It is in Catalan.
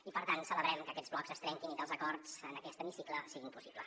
i per tant celebrem que aquests blocs es trenquin i que els acords en aquest hemicicle siguin possibles